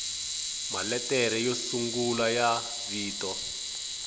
maletere yo sungula ya vito